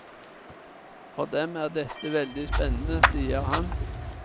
For dem er dette veldig spennende, sier han.